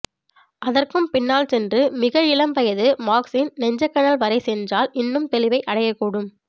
அதற்கும் பின்னால் சென்று மிக இளம் வயது மார்க்ஸின் நெஞ்சக்கனல் வரை சென்றால் இன்னும் தெளிவை அடையக்கூடும்